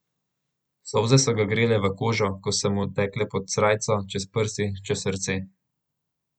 Solze so ga grele v kožo, ko so mu tekle pod srajco, čez prsi, čez srce.